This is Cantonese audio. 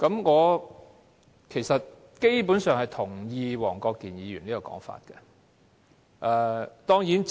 我基本上同意黃國健議員有關"拉布"的說法。